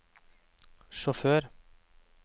sjåfør